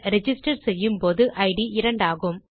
register செய்யும் போது it இரண்டாகும்